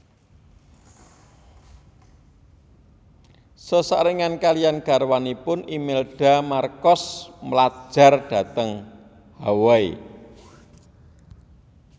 Sesarengan kaliyan garwanipun Imelda Marcos mlajar dhateng Hawaii